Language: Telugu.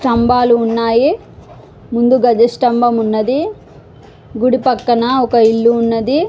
స్తంబాలు ఉన్నాయ్ ముందుగా గజ స్తంభం ఉన్నది. గుడి పక్కన ఒక ఇల్లు ఉన్నది.